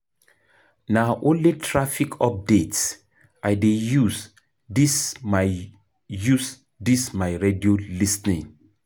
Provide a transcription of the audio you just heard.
Na only traffic updates I dey use dis my radio lis ten.